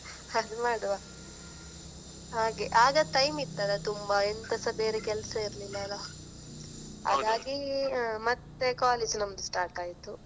ಅದು ಮಾಡುವ ಹಾಗೆ ಆಗ time ಇತ್ತಲಾ ತುಂಬಾ ಎಂತಸ ಬೇರೆ ಕೆಲ್ಸ ಇರ್ಲಿಲ್ಲ ಅಲಾ ಮತ್ತೆ college ನಮ್ದು start ಆಯ್ತು.